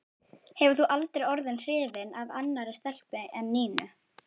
Hefur þú aldrei orðið hrifinn af annarri stelpu en Nínu?